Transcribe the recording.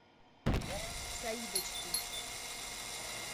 саидочки